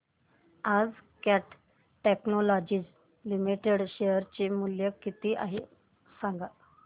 आज Cat Technologies Limited चे share चे मूल्य किती आहे सांगा